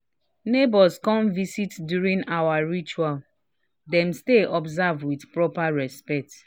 we change to formal clothes fast fast when relatives drop by unexpectedly."